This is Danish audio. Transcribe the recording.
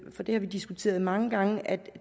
for det har vi diskuteret mange gange at